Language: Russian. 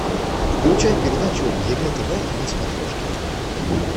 включай передачу егэ тв на смотрешке